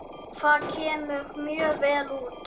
Það kemur mjög vel út.